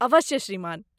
अवश्य , श्रीमान।